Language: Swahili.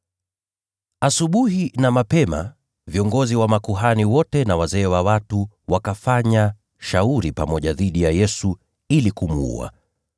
Asubuhi na mapema, viongozi wa makuhani wote na wazee wa watu wakafanya shauri pamoja dhidi ya Yesu ili kumuua.